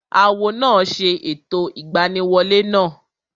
Awo náà ṣe ẹ̀tọ́ ìgbaniwolẹ́ náà